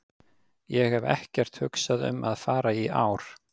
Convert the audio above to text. Ég hef ekkert hugsað um að fara í ár.